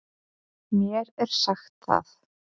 Mér er sagt það.